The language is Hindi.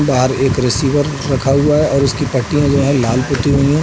बाहर एक रिसीवर रखा हुआ है और उसकी पट्टियाँ जो हैं लाल पुती हुई है।